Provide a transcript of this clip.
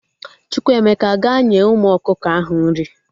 Chukwuemeka, gaa nye umu ọkụkọ ahụ nri!